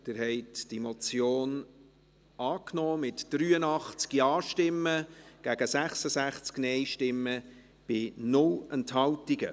Sie haben diese Motion angenommen, mit 83 Ja- gegen 66 Nein-Stimmen bei 0 Enthaltungen.